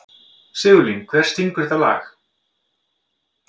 Sigurlín, hver syngur þetta lag?